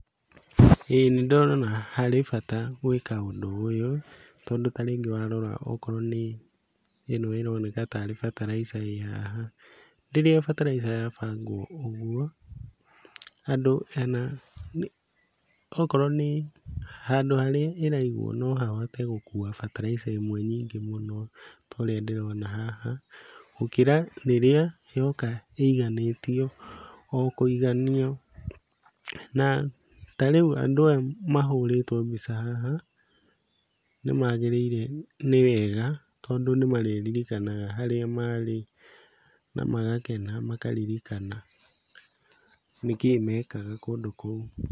Ĩĩ nĩndĩrona harĩ bata gwĩka ũndũ ũyũ tondũ ta rĩngĩ warora okorwo nĩ ĩno ĩroneka tarĩ bataraitha ĩ haha. Rĩrĩa bataraitha yabangwo ũguo andũ ana okorwo nĩ handũ harĩa ĩraigwo no hahote gũkua bataraitha ĩmwe nyingĩ mũno ta ũrĩa ndĩrona haha, gũkĩra rĩrĩa yoka ĩiganĩtio o kũiganio, na tarĩu andũ aya mahũrĩtwo mbica haha nĩmagĩrĩire nĩ wega tondũ nĩmarĩririkanaga harĩa marĩ na magakena makaririkana nĩkĩĩ mekaga kũndũ kũu.